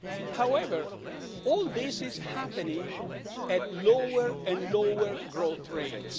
However, all this is happening at lower and lower growth rates.